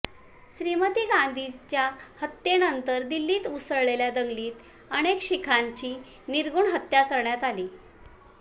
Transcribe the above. श्रीमती गांधींच्या हत्येनंतर दिल्लीत उसळलेल्या दंगलीत अनेक शिखांची निर्घृण हत्या करण्यात आली